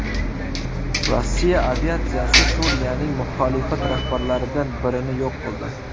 Rossiya aviatsiyasi Suriyaning muxolifat rahbarlaridan birini yo‘q qildi.